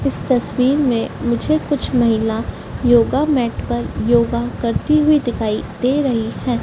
इस तस्वीर में मुझे कुछ महिला योगा मैट पर योगा करती हुई दिखाई दे रही हैं।